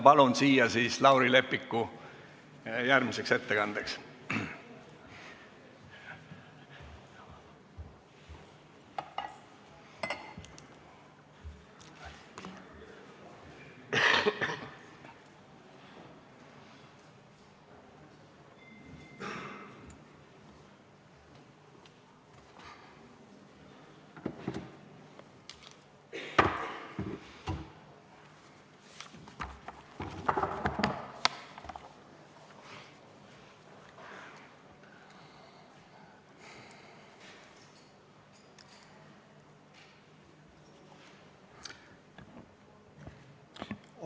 Palun siia järgmiseks ettekandeks Lauri Leppiku.